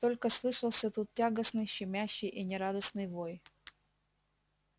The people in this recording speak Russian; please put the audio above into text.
только слышался тут тягостный щемящий и нерадостный вой